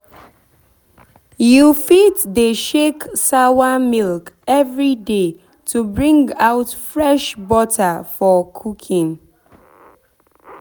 you fit dey shake sawa milk every day to bring out fresh butter for cooking